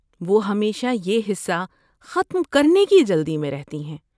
وہ ہمیشہ یہ حصہ ختم کرنے کی جلدی میں رہتی ہے۔